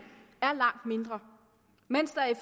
er langt mindre mens der i